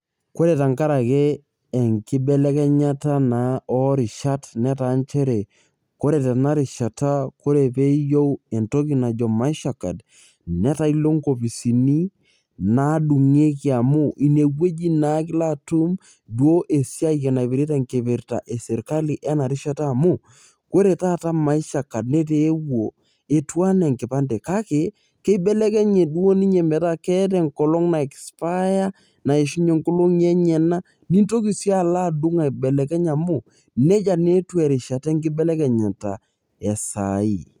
Koree tenkaraki enkibelekenyata oorishat netaa nchere koree tenarishata peyieu entoki najo maisha card nataa ilo nkopisini nadumgieki amu inewueji nake ilo atum nadungieki amuesiai enaipirita enkipirta eserkali amu ore enarishata amu ,ore taata maisha card eewuo etiu enaa enkipande kake eibelekenye duo ninye metaa keeta enkolong nai expire naishunye nkolongi enyenak nintoki si alo adung aibelekeny amu nejia naa etiu erishata enkibelekenyata esaai.